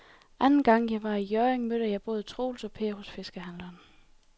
Anden gang jeg var i Hjørring, mødte jeg både Troels og Per hos fiskehandlerne.